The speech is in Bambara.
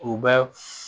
U bɛ